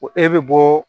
Ko e bɛ bɔ